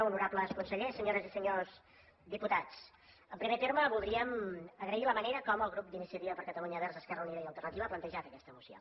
honorables consellers senyores i senyors diputats en primer terme voldríem agrair la manera com el grup d’iniciativa per catalunya verds esquerra unida i alternativa ha plantejat aquesta moció